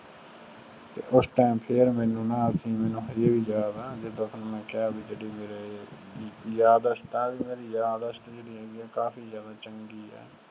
ਉਸ ਟਾਈਮ ਫੇਰ ਮੇਨੂ ਨਾ ਆ ਚੀਜ਼ ਮਨੁ ਹਜੇ ਵੀ ਯਾਦ ਆ ਜਿੰਦਾ ਤੁਹਾਨੂੰ ਮੈਂ ਕਿਹਾ ਵੀ ਜਿਹੜੀ ਮੇਰੀ ਯਾਦਾਸ਼ਤ ਆ ਨਾ ਮੇਰੀ ਯਾਦਾਸ਼ਤ ਜਿਹੜੀ ਹੈਗੀ ਆ ਕਾਫੀ ਜਿਆਦਾ ਚੰਗੀ ਆ।